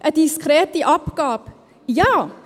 Eine diskrete Abgabe: Ja.